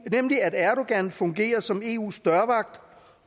nemlig at erdogan fungerer som eus dørvogter